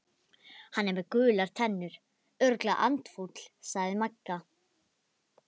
Hann er með gular tennur, örugglega andfúll sagði Magga.